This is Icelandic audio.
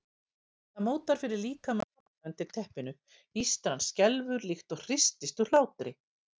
Það mótar fyrir líkama pabba undir teppinu, ístran skelfur líkt og hristist úr hlátri.